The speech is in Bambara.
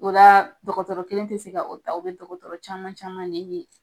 O la dɔgɔtɔrɔ kelen tɛ se ka o ta, o bɛ dɔgɔtɔrɔ caman caman le ye .